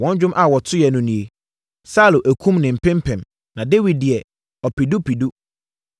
Wɔn dwom a wɔtoeɛ no nie: Saulo akum ne mpempem, na Dawid deɛ, ɔpedupedu!